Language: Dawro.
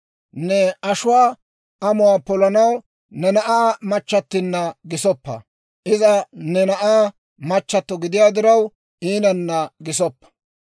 Ne ashuwaa amuwaa polanaw ne na'aa machchattinna gisoppa; iza ne na'aa machchato gidiyaa diraw, iinanna gisoppa.